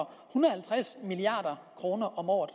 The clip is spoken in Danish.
halvtreds milliard kroner om året